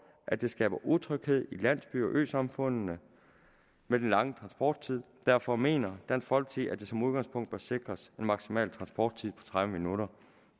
at det skaber utryghed i landsbyer og øsamfund med den lange transporttid derfor mener dansk folkeparti som udgangspunkt bør sikres en maksimal transporttid på tredive minutter